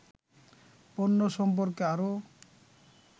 পণ্য সম্পর্কে আরও